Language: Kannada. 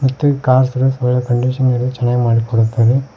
ಮತ್ತೆ ಕಾರ್ಸ್ ಕಂಡೀಷನ್ ಗಳ ಚೆನ್ನಾಗ್ ಮಾಡಿಕೊಡುತ್ತಾರೆ.